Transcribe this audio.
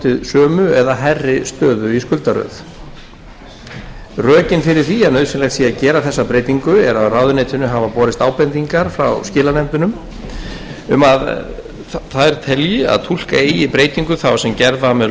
sömu eða hærri stöðu í skuldaröð rökin fyrir því að nauðsynlegt sé að gera þessa breytingu eru að ráðuneytinu hafa borist ábendingar frá skilanefndunum um að þær telji að túlka eigi breytingu þá sem gerð var með